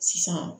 Sisan